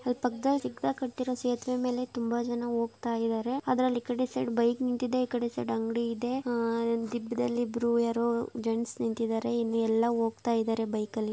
ಅಲ್ಲಿ ಪಕ್ಕದಲ್ಲಿ ಕಟ್ಟಿರುವ ಸೇತುವೆ ಮೇಲೆ ತುಂಬ ಜನ ಹೋಗುತ ಇದ್ದಾರೆ ಅದರಲ್ಲಿ ಇಕಡೆ ಸೈಡ ಅಂಗಡಿ ಇದೆ ದಿಬ್ಬದ್ದಲ್ಲಿ ಇಬ್ರು ಯಾರೊ ಜೆಂಡ್ಸ ನಿಂತ್ತಿದ್ದಾರೆ ಹೊಗ್ತಾಇದ್ದಾರೆ ಬೈಕ್ ಯಲ್ಲಿ.